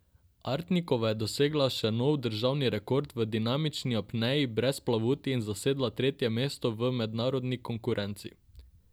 Artnikova je dosegla še nov državni rekord v dinamični apneji brez plavuti in zasedla tretje mesto v mednarodni konkurenci.